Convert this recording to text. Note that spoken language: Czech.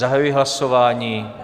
Zahajuji hlasování.